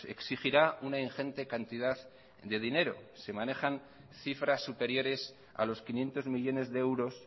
exigirá una ingente cantidad de dinero se manejan cifras superiores a los quinientos millónes de euros